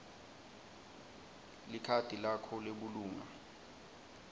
likhadi lakho lebulunga